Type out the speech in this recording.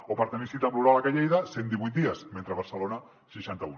o per tenir cita amb l’uròleg a lleida cent i divuit dies a barcelona seixanta un